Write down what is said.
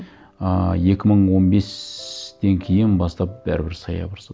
ыыы екі мың он бестен кейін бастап бәрібір